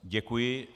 Děkuji.